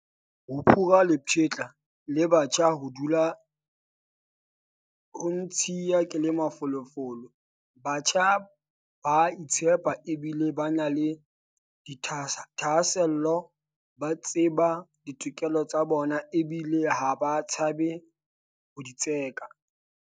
Ho phura lepshetla le batjha ho dula ho ntshiya ke le mafolofolo. Batjha bana ba a itshepa ebile ba na le dithahasello. Ba tseba ditokelo tsa bona ebile ha ba tshabe ho di tseka.